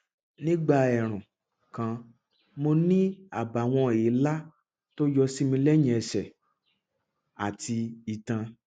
nígbà ẹẹrùn kan mo ní àbàwọn èélá tó yọ sí mi lẹyìn ẹsẹ àti itan